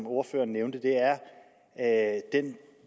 ordføreren nævnte er den